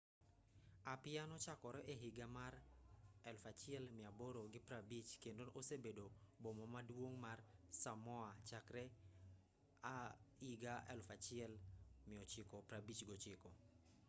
apia nochakore e higa mar 1850 kendo osebedo boma maduong' mar samoa chakre 1959